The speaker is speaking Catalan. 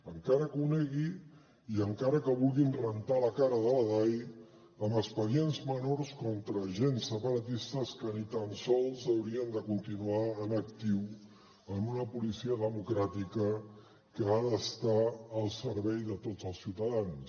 encara que ho negui i encara que vulguin rentar la cara de la dai amb expedients menors contra agents separatistes que ni tan sols haurien de continuar en actiu en una policia democràtica que ha d’estar al servei de tots els ciutadans